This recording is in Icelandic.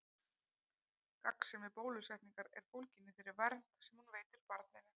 Gagnsemi bólusetningar er fólgin í þeirri vernd sem hún veitir barninu.